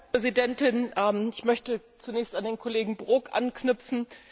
Frau Präsidentin! Ich möchte zunächst an den Kollegen Brok anknüpfen.